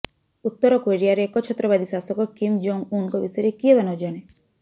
ଉତ୍ତର କୋରିଆର ଏକଛତ୍ରବାଦୀ ଶାସକ କିମ୍ ଜଙ୍ଗ୍ ଉନଙ୍କ ବିଷୟରେ କିଏ ବା ନଜାଣେ